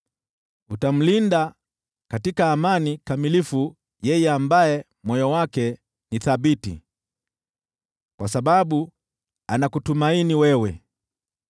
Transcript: Utamlinda katika amani kamilifu yeye ambaye moyo wake ni thabiti kwa sababu anakutumaini wewe.